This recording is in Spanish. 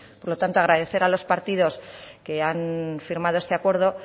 por lo tanto agradecer a los partidos que han firmado este acuerdo